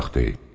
Da uşaq deyil.